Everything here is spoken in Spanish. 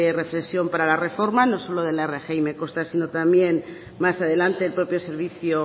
reflexión para la reforma no solo de la rgi me consta sino también más adelante el propio servicio